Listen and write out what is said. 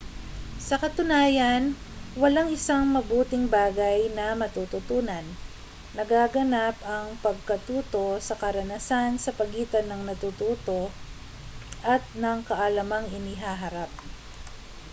sa katunayan walang isang mabuting bagay na matututunan nagaganap ang pagkatuto sa karanasan sa pagitan ng natututo at ng kaalamang inihaharap